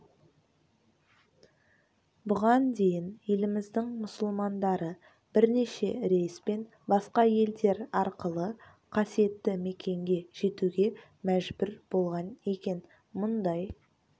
бұған дейін еліміздің мұсылмандары бірнеше рейспен басқа елдер арқылы қасиетті мекенге жетуге мәжбүр болған екен мұндай